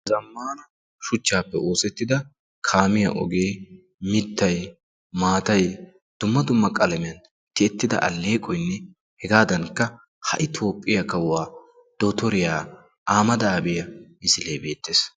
Zammaana shuchchaappe oosettida kaamiyaa ogee mittay dumma dumma qalamiyaan tiyettida alleeqoyinne hegaadankka ha'i toophphiyaa kawuwaa dottoriyaa ahimeda aabi misilee beettees.